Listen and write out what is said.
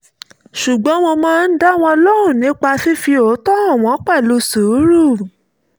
ṣùgbọ́n mo máa ń dá wọn lóhùn nípa fífi òótọ́ hàn wọ́n pẹ̀lú sùúrù